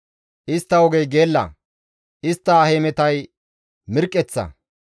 Istta ogey geella; istta hemetay mirqqeththa.